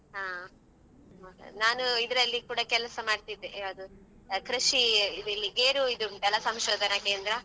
ಹಾ ನಾನ್ ಇದ್ರಲ್ಲಿ ಕೂಡ ಕೆಲಸ ಮಾಡ್ತಿದ್ದೆ ಯಾವ್ದು ಅಹ್ ಕೃಷಿ ಇದು ಗೇರು ಇದು ಉಂಟಲ್ವಾ ಸಂಶೋಧನಾ ಕೇಂದ್ರ.